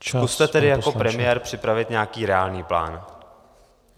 Zkuste tedy jako premiér připravit nějaký reálný plán.